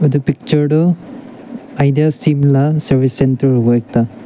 etu picture tu idea bilak service centre hobo ekta.